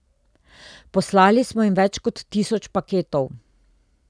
Poslali smo jim več kot tisoč paketov.